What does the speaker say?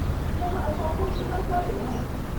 की अहाँ असाइनमेंट पूरा कऽ लेलहुँ ?